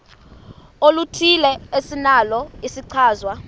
oluthile esinalo isichazwa